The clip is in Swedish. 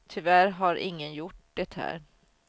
Tyvärr har ingen gjort det här.